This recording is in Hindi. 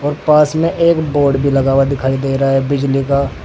पास में बोर्ड भी लगा हुआ दिखाई दे रहा है बिजली का।